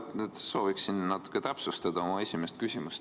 Ma sooviksin natuke täpsustada oma esimest küsimust.